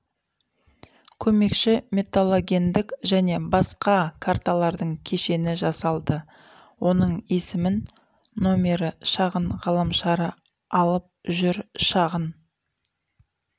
көмекші металлогендік және басқа карталардың кешені жасалды оның есімін нөмірі шағын ғаламшары алып жүр шағын